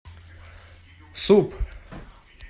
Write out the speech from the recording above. суп